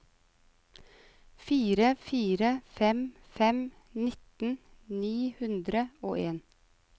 fire fire fem fem nitten ni hundre og en